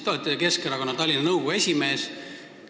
Te olete Keskerakonna Tallinna nõukogu esimees.